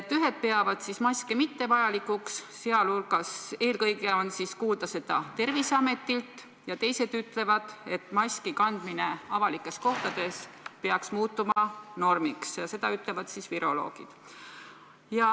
Ühed peavad maske mittevajalikuks – eelkõige on kuulda seda Terviseametilt – ja teised ütlevad, et maski kandmine avalikes kohtades peaks muutuma normiks – seda ütlevad viroloogid.